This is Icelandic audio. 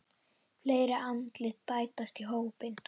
Fleiri andlit bætast í hópinn.